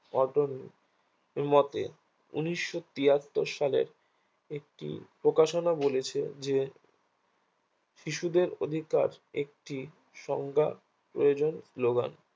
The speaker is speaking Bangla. এর মতে উনিশশো তিহাত্তর সালের একটি প্রকাশনা বলেছে যে শিশুদের অধিকার একটি সংজ্ঞা প্রয়োজন শ্লোগান